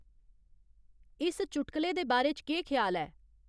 इस चुटकले दे बारे च केह् ख्याल ऐ